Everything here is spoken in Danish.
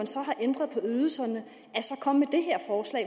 ydelserne